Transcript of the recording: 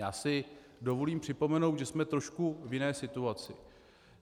Já si dovolím připomenout, že jsme trošku v jiné situaci.